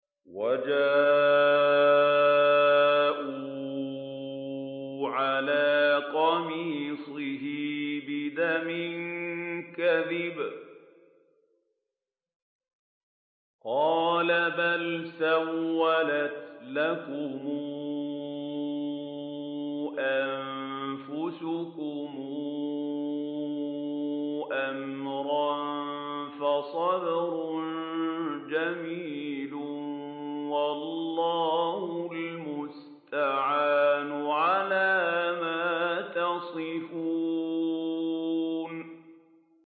وَجَاءُوا عَلَىٰ قَمِيصِهِ بِدَمٍ كَذِبٍ ۚ قَالَ بَلْ سَوَّلَتْ لَكُمْ أَنفُسُكُمْ أَمْرًا ۖ فَصَبْرٌ جَمِيلٌ ۖ وَاللَّهُ الْمُسْتَعَانُ عَلَىٰ مَا تَصِفُونَ